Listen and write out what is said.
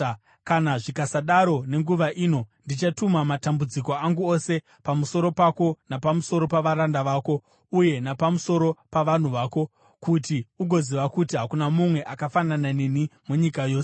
kana zvikasadaro nenguva ino ndichatuma matambudziko angu ose pamusoro pako napamusoro pavaranda vako uye napamusoro pavanhu vako, kuti ugoziva kuti hakuna mumwe akafanana neni munyika yose.